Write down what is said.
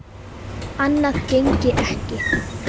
Annað gengi ekki.